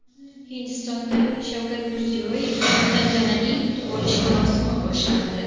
Hindistonda Shavkat Mirziyoyevni tantanali kutib olish marosimi boshlandi .